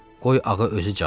Qoy ağa özü cavab versin.